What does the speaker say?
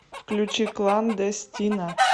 включи кландестина